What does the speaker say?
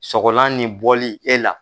Sɔgɔlan ni bɔli e la.